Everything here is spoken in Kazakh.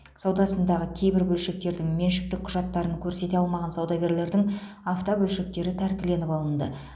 саудасындағы кейбір бөлшектердің меншіктік құжаттарын көрсете алмаған саудагерлердің автобөлшектері тәркіленіп алынды